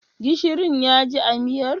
Gishirin ya ji a miyar?